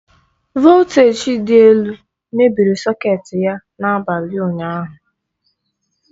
Voltaji dị elu mebiri sọketi ya na-abalị ụnyaahụ.